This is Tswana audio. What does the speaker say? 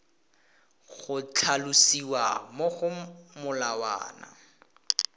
go tlhalosiwa mo go molawana